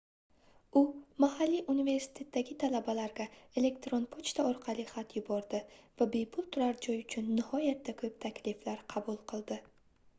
u mahalliy universitetdagi talabalarga elektron pochta orqali xat yubordi va bepul turar joy uchun nihoyatda koʻp takliflar qabul qildi